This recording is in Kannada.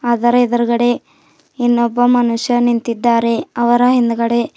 ಅದರ ಎದುರುಗಡೆ ಇನ್ನೊಬ್ಬ ಮನುಷ್ಯ ನಿಂತಿದ್ದಾರೆ ಅವರ ಹಿಂದ್ಗಡೆ.